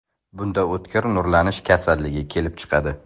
Bunda o‘tkir nurlanish kasalligi kelib chiqadi.